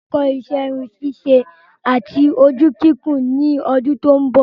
Máà lọ kó isẹ́ irun ṣíṣe àti ojú kíkùn ní ọdún tó ń bò